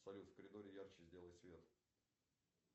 салют в коридоре ярче сделай свет